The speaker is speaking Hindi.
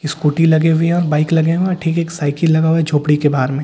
स्कूटी लगी हुई है और बाइक लगे हुए हैं ठीक एक साइकिल लगा हुआ है झोपड़ी के बाहर में----